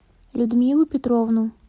людмилу петровну